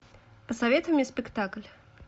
посоветуй мне спектакль